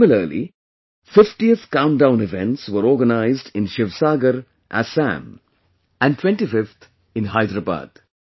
Similarly, 50th Countdown Events were organized in Sivasagar, Assam and 25th in Hyderabad